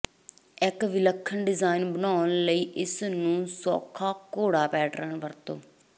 ਇਕ ਵਿਲੱਖਣ ਡਿਜ਼ਾਇਨ ਬਣਾਉਣ ਲਈ ਇਸ ਨੂੰ ਸੌਖਾ ਘੋੜਾ ਪੈਟਰਨ ਵਰਤੋ